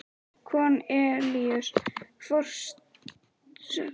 Kornelíus forsetaritari er líka með stafla af erindum.